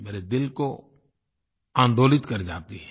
मेरे दिल को आंदोलित कर जाती हैं